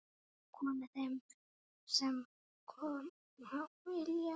Komi þeir sem koma vilja-?